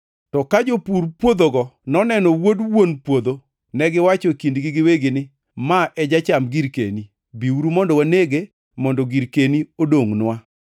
“To ka jopur puodhogo noneno wuod wuon puodho, negiwacho e kindgi giwegi ni, ‘Ma e jacham girkeni. Biuru mondo wanege mondo girkeni odongʼnwa.’